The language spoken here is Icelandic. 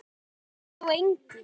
Hann breytti þó engu.